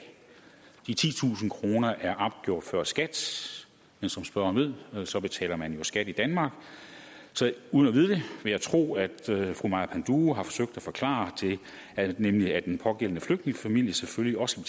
de titusind kroner er opgjort før skat men som spørgeren ved betaler man jo skat i danmark så uden at vide det vil jeg tro at fru maja panduro har forsøgt at forklare det nemlig at den pågældende flygtningefamilie selvfølgelig også